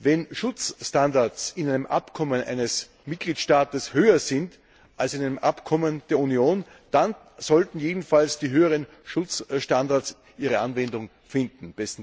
Wenn Schutzstandards in einem Abkommen eines Mitgliedstaates höher sind als in einem Abkommen der Union, dann sollten jedenfalls die höheren Schutzstandards Anwendung finden.